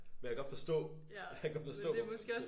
Men jeg kan godt forstå jeg kan godt forstå hvorfor man kunne